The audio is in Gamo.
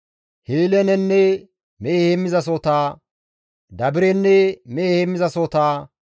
Hiilenenne mehe heemmizasohota, Dabirenne mehe heemmizasohota,